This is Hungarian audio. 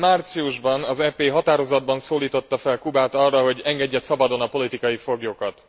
Idén márciusban az EP határozatban szólította fel Kubát arra, hogy engedje szabadon a politikai foglyokat.